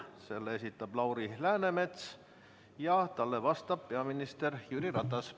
Selle esitab Lauri Läänemets ja talle vastab peaminister Jüri Ratas.